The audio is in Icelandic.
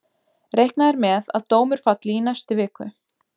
Reiknað er með að dómur falli í næstu viku.